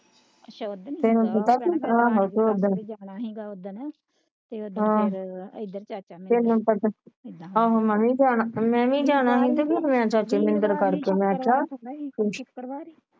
ਅੱਛਾ ਓਦਣ ਤੇ ਹੁਣ ਕੀਤਾ ਸੀ ਆਹੋ ਤੇ ਕਰਨਾ ਸੀਗਾ ਓਦਣ ਆਹੋ ਮੈਂ ਵੀ ਮੈਂ ਵੀ ਜਾਣਾ